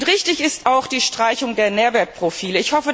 Richtig ist auch die Streichung der Nährwertprofile.